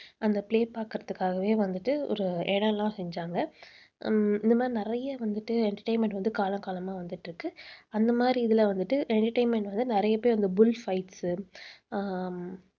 அந்த play பாக்குறதுக்காகவே வந்துட்டு ஒரு இடம் எல்லாம் செஞ்சாங்க. உம் இந்த மாதிரி நிறைய வந்துட்டு entertainment வந்து காலம் காலமா வந்துட்டு இருக்கு. அந்த மாதிரி இதில வந்துட்டு entertainment வந்து நிறைய பேர் அந்த bull fights ஆஹ்